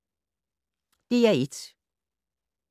DR1